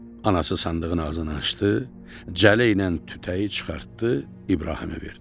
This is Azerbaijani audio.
Anası sandığın ağzını açdı, cələ ilə tütəyi çıxartdı İbrahimə verdi.